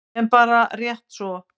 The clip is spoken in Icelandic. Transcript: En bara rétt svo.